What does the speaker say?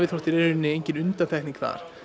rauninni engin undantekning þar